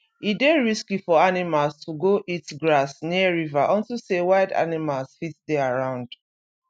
e dey risky for animals to go eat grass near river unto say wild animals fit dey around